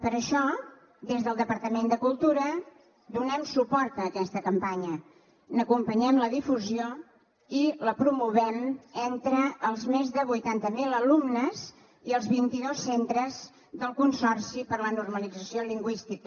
per això des del departament de cultura donem suport a aquesta campanya n’acompanyem la difusió i la promovem entre els més de vuitanta mil alumnes i els vint i dos centres del consorci per a la normalització lingüística